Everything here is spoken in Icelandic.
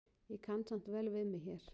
Ég kann samt vel við mig hér.